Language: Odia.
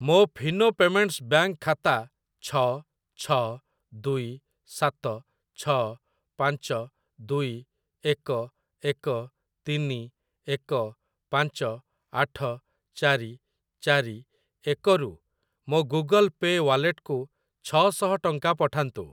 ମୋ ଫିନୋ ପେମେଣ୍ଟ୍ସ୍ ବ୍ୟାଙ୍କ୍‌ ଖାତା ଛ ଛ ଦୁଇ ସାତ ଛ ପାଞ୍ଚ ଦୁଇ ଏକ ଏକ ତିନି ଏକ ପାଞ୍ଚ ଆଠ ଚାରି ଚାରି ଏକ ରୁ ମୋ ଗୁଗଲ୍ ପେ ୱାଲେଟକୁ ଛ ଶହ ଟଙ୍କା ପଠାନ୍ତୁ।